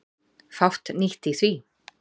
Fátt nýtt í því.